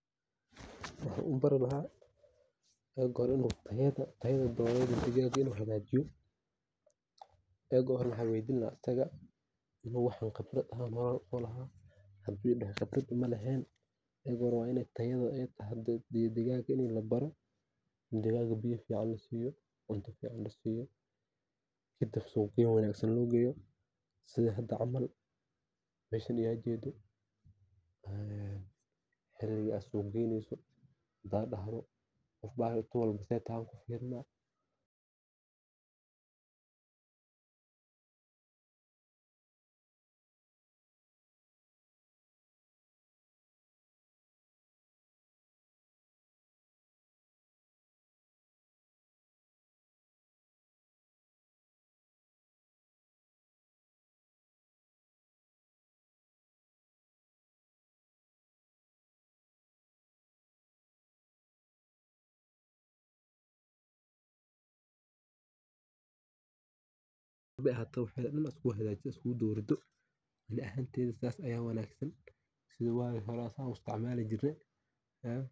Waxan u bari laha in u tayada digaga u hagjiyo ogoro waxan weydini laha cuntadha hadu idaho qebrad maulehen waa in aa baro sitha lo xananeyo iyo cuntadha ee cunto iyo halka ee kunolani karto iyo faidada ee ledhahay sitha waga hore san ayan u isticmali jirne waa mid tayo iyo cafimaad leh.